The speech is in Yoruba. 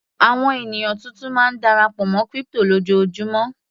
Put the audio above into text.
Àwọn ènìyàn tuntun máa ń darapọ̀ mọ́ crypto lójoojúmó.